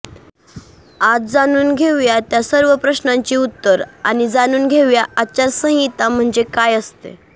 आज जाणून घेउया त्या सर्व प्रश्नांची उत्तर आणि जाणुन घेउया आचार संहिता म्हणजे काय असते